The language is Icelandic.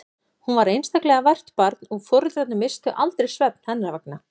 Hún var einstaklega vært barn og foreldrarnir misstu aldrei svefn hennar vegna.